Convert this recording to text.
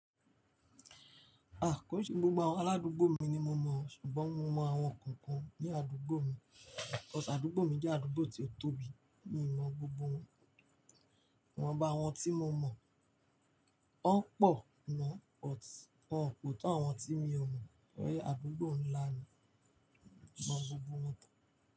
Kò n se gbogbo àwọn aládúgbò mi ni mo mọ̀, ṣùgbọ́n mo mọ àwọn kankan ní àdúgbò mi. Cause àdúgbò mi jẹ́ àdúgbò tí ó tóbi, mi ò mọ gbogbo wọn. Ìwọn bá àwọn tí mo mọ̀, wọ́n pọ̀ mọ́, but wọ́n pò tó àwọn tí mi ò mọ̀. Àdúgbò ńlá ni, mọ gbogbo wọn.